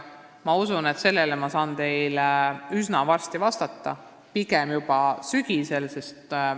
Ma usun, et saan teile üsna varsti vastata, juba sügisel.